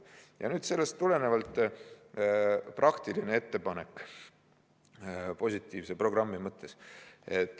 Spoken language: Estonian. Ja nüüd sellest tulenevalt praktiline ettepanek positiivse programmi mõttes.